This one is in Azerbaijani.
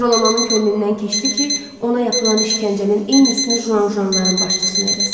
Jolamanın könlündən keçdi ki, ona yapılan işgəncənin eynisini Juanjuanların başçısına eləsin.